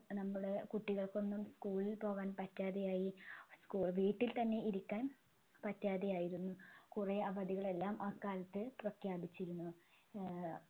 നമ്മൾ കുട്ടികൾക്കൊന്നും school ൽ പോവാൻ പറ്റാതെയായി school വീട്ടിൽ തന്നെ ഇരിക്കാൻ പറ്റാതെയായിരുന്നു കുറെ അവധികളെല്ലാം അക്കാലത്ത് പ്രഖ്യാപിച്ചിരുന്നു ഏർ